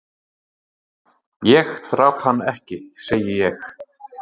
"""Ég drap hann ekki, segi ég."""